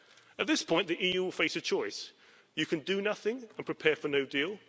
At this point, the EU will face a choice you can do nothing, and prepare for no deal